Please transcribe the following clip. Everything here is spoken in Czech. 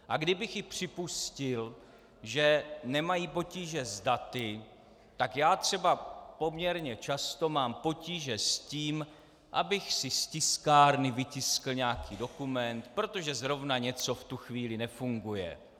A kdybych i připustil, že nemají potíže s daty, tak já třeba poměrně často mám potíže s tím, abych si z tiskárny vytiskl nějaký dokument, protože zrovna něco v tu chvíli nefunguje.